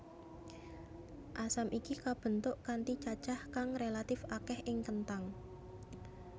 Asam iki kabentuk kanthi cacah kang relatif akeh ing kenthang